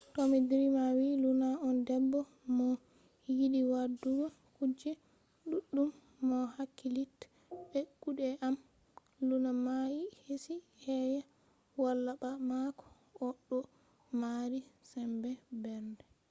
tomi drima wi luna on debbo mo yiɗi waɗugo kuje ɗuɗɗum. mo hakkilitta be kuɗe am. luna mayi hesi keya. wala ba mako o ɗo mari sembe mbernde.